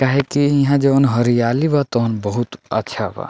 काहे की इहां जउन हरियाली बा तउन बहुत अच्छा बा।